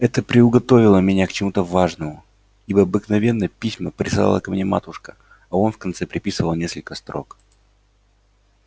это приуготовило меня к чему-то важному ибо обыкновенно письма писала ко мне матушка а он в конце приписывал несколько строк